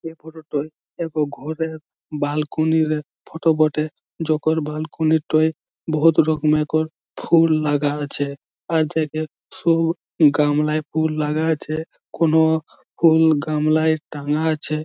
এই ফটো টোয় এক ঘরের বালকনিরে -রে ফটো বটে। যখন বালকনিটয় -টয় বহুত রকমেকর ফুল লাগা আছে। আর জায়গায় ফুল গামলায় ফুল লাগা আছে ।কোনও ফুল গামলায় টাঙা আছে।